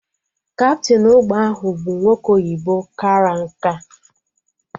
Kaptịn ụgbọ ahụ bụ nwoke oyibo kara nkà